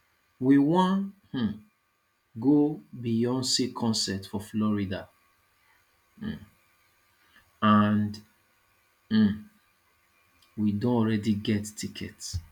we wan um go beyonce concert for florida um and um we don already get ticket